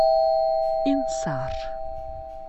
инсар